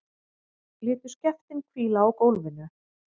Létu skeftin hvíla á gólfinu.